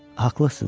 Haqlısınız.